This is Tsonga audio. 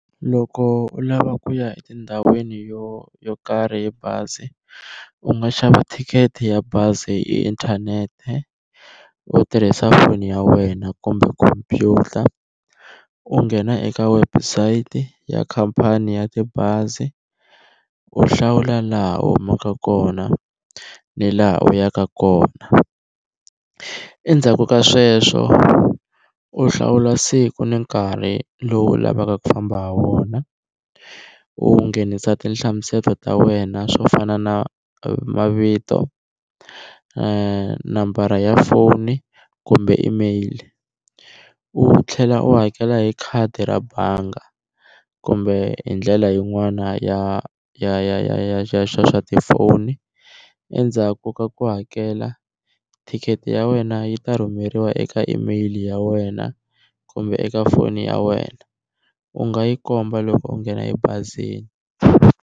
Loko u lava ku ya etindhawini yo yo karhi hi bazi u nga xava thikithi ya bazi hi inthanete u tirhisa foni ya wena kumbe khompyuta u nghena eka website ya khampani ya tibazi u hlawula laha u humaka kona ni laha u yaka kona, endzhaku ka sweswo u hlawula siku ni nkarhi lowu u lavaka ku famba ha wona u nghenisa tinhlamuselo ta wena swo fana na mavito, nambara ya foni kumbe email, u tlhela u hakela hi khadi ra banga kumbe hi ndlela yin'wana ya ya ya ya ya xa tifoni endzhaku ka ku hakela ticket ya wena yi ta rhumeriwa eka email ya wena kumbe eka foni ya wena u nga yi komba loko u nghena ebazini.